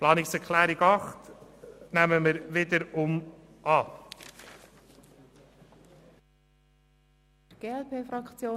Die Planungserklärung 8 der SAK nehmen wir wiederum an.